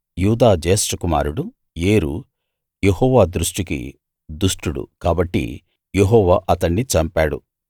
యూదా జ్యేష్ఠ కుమారుడు ఏరు యెహోవా దృష్టికి దుష్టుడు కాబట్టి యెహోవా అతణ్ణి చంపాడు